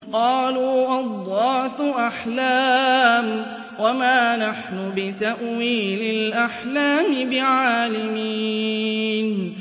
قَالُوا أَضْغَاثُ أَحْلَامٍ ۖ وَمَا نَحْنُ بِتَأْوِيلِ الْأَحْلَامِ بِعَالِمِينَ